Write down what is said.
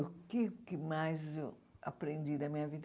O que que mais eu aprendi da minha vida?